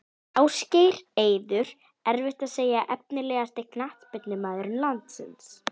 Ásgeir, Eiður erfitt að segja Efnilegasti knattspyrnumaður landsins?